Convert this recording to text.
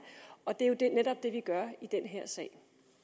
og det er jo netop det vi gør i den her sag